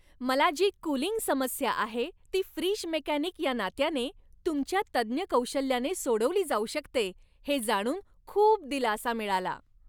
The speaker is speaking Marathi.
मला जी कूलिंग समस्या आहे, ती फ्रीज मेकॅनिक या नात्याने तुमच्या तज्ज्ञ कौशल्याने सोडवली जाऊ शकते हे जाणून खूप दिलासा मिळाला.